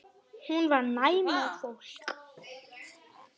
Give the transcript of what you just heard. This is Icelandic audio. Hún var næm á fólk.